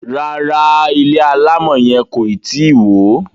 ràrá ilé alamò yen koi tí wọ.